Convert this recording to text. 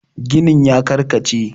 ginin ya karkace?